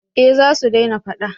eh za su dena fada